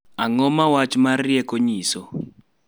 Ang�o ma wach ma rieko nyiso?